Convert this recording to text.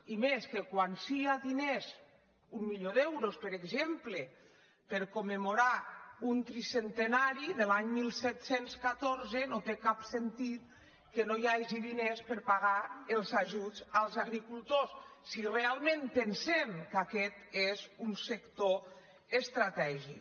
i més que quan sí que hi ha diners un milió d’euros per exemple per commemorar un tri·centenari de l’any disset deu quatre no té cap sentit que no hi hagi diners per pagar els ajuts als agricultors si realment pensem que aquest és un sector estratègic